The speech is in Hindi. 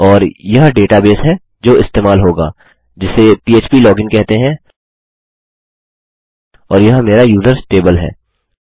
और यह डेटाबेस है जो इस्तेमाल होगा जिसे पह्प लोगिन कहते हैं और यह मेरा यूजर्स टेबल है